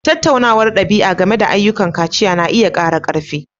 Tattaunawar ɗabi'a game da ayyukan kaciya na iya ƙara ƙarfi.